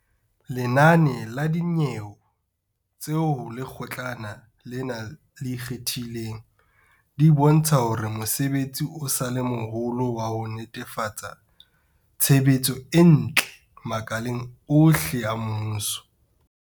Lenane la dinyewe tse ho Lekgotlana lena le Ikgethileng, di bontsha hore mosebetsi o sa le moholo wa ho netefatsa tshebetso e ntle makaleng ohle a mmuso.